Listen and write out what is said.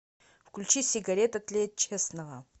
включи сигарета тлеет честного